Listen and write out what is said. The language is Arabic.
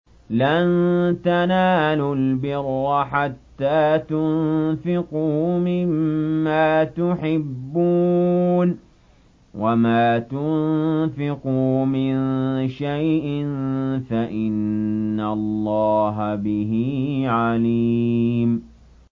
لَن تَنَالُوا الْبِرَّ حَتَّىٰ تُنفِقُوا مِمَّا تُحِبُّونَ ۚ وَمَا تُنفِقُوا مِن شَيْءٍ فَإِنَّ اللَّهَ بِهِ عَلِيمٌ